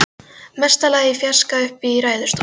Mesta lagi í fjarska uppi í ræðustól.